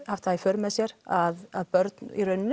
haft það í för með sér að börn í rauninni